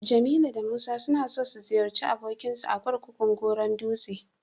Jamilu da Musa suna so su ziyarci abokinsu a kurkukun Goron dutse.